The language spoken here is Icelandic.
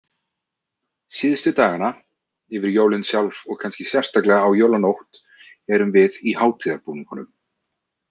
Síðustu dagana, yfir jólin sjálf og kannski sérstaklega á jólanótt, erum við í hátíðarbúningunum.